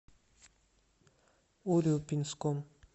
урюпинском